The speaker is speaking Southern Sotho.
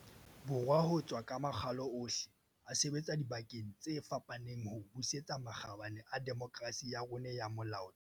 Borwa ho tswa ka makgalo ohle, a sebetsa dibakeng tse fapaneng ho busetsa makgabane a demokerasi ya rona ya molaotheo.